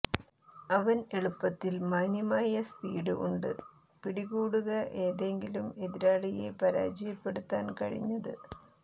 അവൻ എളുപ്പത്തിൽ മാന്യമായ സ്പീഡ് ഉണ്ട് പിടികൂടുക ഏതെങ്കിലും എതിരാളിയെ പരാജയപ്പെടുത്താൻ കഴിഞ്ഞത്